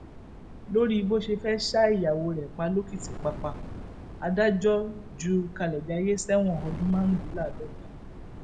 lórí bó ṣe fẹẹ ṣa ìyàwó rẹ pa lòkìtìpápá adájọ ju kalejayé sẹwọn ọdún márùndínláàádọta